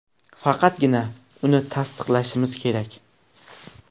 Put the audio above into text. Faqatgina uni tasdiqlashimiz kerak.